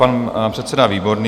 Pan předseda Výborný.